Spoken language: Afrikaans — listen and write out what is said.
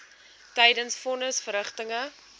tydens von nisverrigtinge